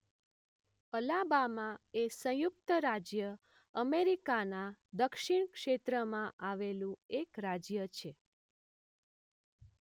Alabama એ સંયુક્ત રાજ્ય અમેરિકાના દક્ષિણ ક્ષેત્રમાં આવેલું એક રાજ્ય છે.